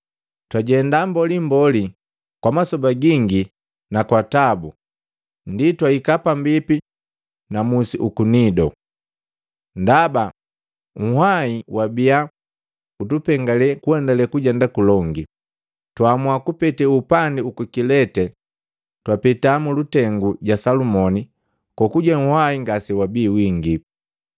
Twajenda mbolimbo na kwa masoba gingi na kwa tabu ndi twaika pambipi na musi uku Nido. Ndaba nhwahi wabia utupengale kuendale kujenda kulongi, twaamua kupete upandi uku Kilete twapeta mulutengu ja Salumoni kokuje nhwahi ngase wabi wingipi.